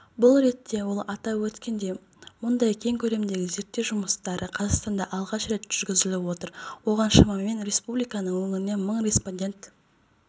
бұл ретте ол атап өткендей мұндай кең көлемдегі зерттеу жұмыстары қазақстанда алғаш рет жүргізіліп отыр оған шамамен республиканың өңірінен мың респондент